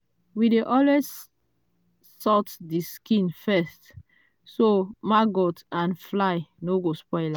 we dey always salt the skin first so maggot and fly no go spoil am.